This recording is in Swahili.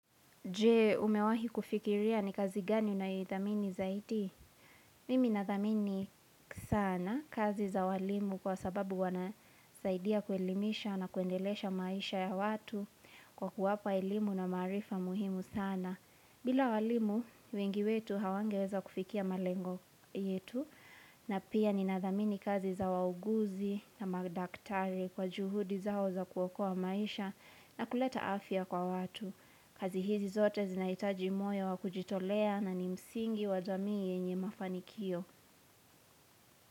Jee, umewahi kufikiria ni kazi gani unaidhamini zaidi? Mimi nadhamini sana kazi za walimu kwa sababu wanasaidia kuelimisha na kuendelesha maisha ya watu kwa kuwapa elimu na maarifa muhimu sana. Bila walimu, wengi wetu hawangeweza kufikia malengo yetu na pia ni nadhamini kazi za wauguzi na magdaktari kwa juhudi zao za kuokoa maisha na kuleta afya kwa watu. Kazi hizi zote zinaitaji moyo wa kujitolea na ni msingi wa jamii yenye mafanikio.